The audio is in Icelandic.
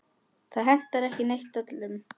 Það hentar ekki eitt öllum.